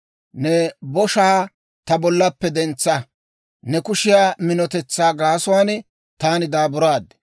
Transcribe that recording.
Ne boshaa ta bollaappe dentsa. Ne kushiyaa minotetsaa gaasuwaan taani daaburaad.